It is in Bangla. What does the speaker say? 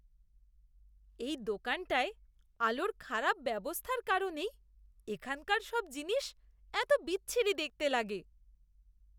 এই দোকানটায় আলোর খারাপ ব্যবস্থার কারণেই এখানকার সব জিনিস এত বিচ্ছিরি দেখতে লাগে।